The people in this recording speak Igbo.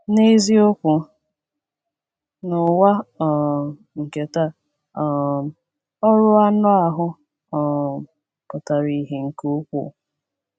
N’eziokwu, n’ụwa um nke taa um “ọrụ anụ ahụ” um pụtara ìhè nke ukwuu.